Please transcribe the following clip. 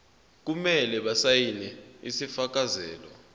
kumele basayine isifakazelo